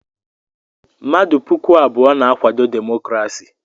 Mmadụ puku abụọ na-akwado demokrasi.